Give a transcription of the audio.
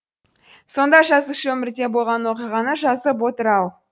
сонда жазушы өмірде болған оқиғаны жазып отыр ау